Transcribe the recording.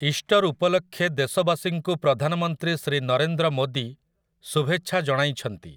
Easter ଉପଲକ୍ଷେ ଦେଶବାସୀଙ୍କୁ ପ୍ରଧାନମନ୍ତ୍ରୀ ଶ୍ରୀ ନରେନ୍ଦ୍ର ମୋଦୀ ଶୁଭେଛା ଜଣାଇଛନ୍ତି ।